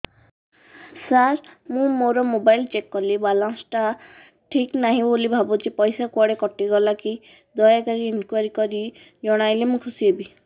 ସାର ମୁଁ ମୋର mobile check କଲି ବାଲାନ୍ସ ଟା ଠିକ ନାହିଁ ବୋଲି ଭାବୁଛି ପଇସା କୁଆଡେ କଟି ଗଲା କି ଦୟାକରି ଇନକ୍ୱାରି କରି ଜଣାଇଲେ ମୁଁ ଖୁସି ହେବି